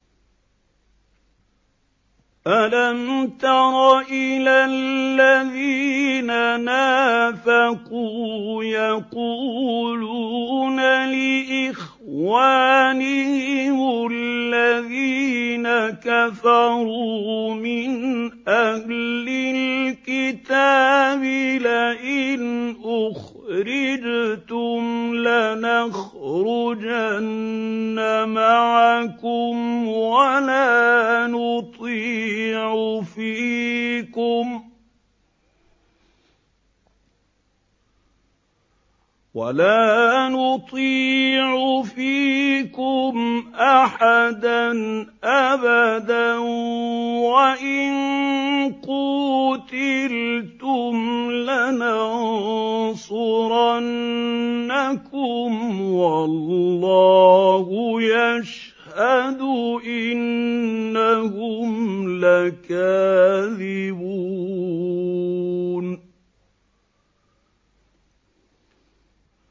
۞ أَلَمْ تَرَ إِلَى الَّذِينَ نَافَقُوا يَقُولُونَ لِإِخْوَانِهِمُ الَّذِينَ كَفَرُوا مِنْ أَهْلِ الْكِتَابِ لَئِنْ أُخْرِجْتُمْ لَنَخْرُجَنَّ مَعَكُمْ وَلَا نُطِيعُ فِيكُمْ أَحَدًا أَبَدًا وَإِن قُوتِلْتُمْ لَنَنصُرَنَّكُمْ وَاللَّهُ يَشْهَدُ إِنَّهُمْ لَكَاذِبُونَ